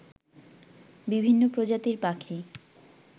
বিভিন্ন প্রজাতির পাখি